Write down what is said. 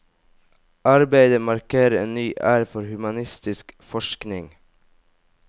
Arbeidet markerer en ny æra for humanistisk forskning.